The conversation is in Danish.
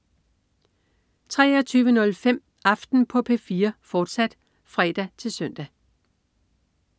23.05 Aften på P4, fortsat (fre-søn)